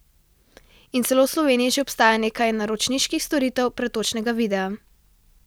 In celo v Sloveniji že obstaja nekaj naročniških storitev pretočnega videa.